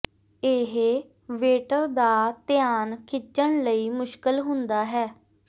ਇਹ ਵੇਟਰ ਦਾ ਧਿਆਨ ਖਿੱਚਣ ਲਈ ਮੁਸ਼ਕਲ ਹੁੰਦਾ ਹੈ